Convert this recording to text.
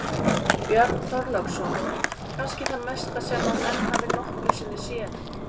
Björn Þorláksson: Kannski það mesta sem að menn hafi nokkru sinni séð?